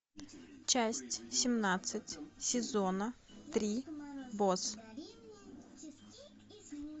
часть семнадцать сезона три босс